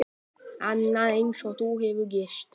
Annað eins hefur nú gerst.